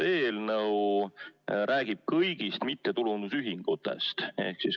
See eelnõu räägib kõigist mittetulundusühingutest.